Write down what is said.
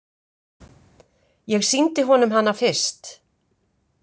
Ég sýndi honum hana fyrst.